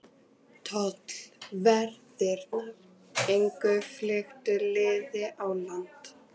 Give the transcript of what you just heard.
Tollverðirnir gengu fylktu liði á land.